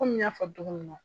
Kɔli n y'a fɔ cogo min na.